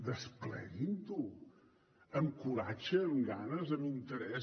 despleguin ho amb coratge amb ganes amb interès